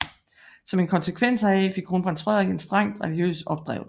Som en konsekvens heraf fik Kronprins Frederik en strengt religiøs opdragelse